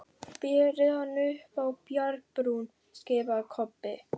Berið hann upp á bjargbrún, skipaði Kobbi.